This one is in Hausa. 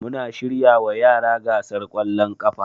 Muna shiryawa yara gasar kwallon kafa